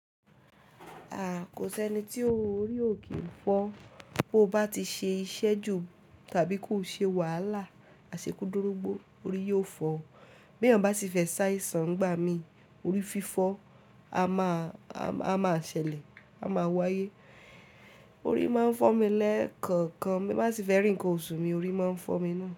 Aah! Kò sẹ́ni tí orí ò kì í fọ́. Bó bá ti ṣe iṣẹ́ jù tàbí kò ṣe wàhálà, àṣekú dorúgbó orí yóò fọ́. Bí èèyàn bá ti fẹ́ ṣaìsàn ngbà mí, orí fífọ́ a máa, a máa ṣẹlẹ̀, a máa w'ayé. Orí máa ń fọ́ mi lẹ́ẹ̀kọ̀ọ̀kan. Bí Mao bá sì fẹ́ rì nkan oṣù mi orí máa ń fọ́ mi na.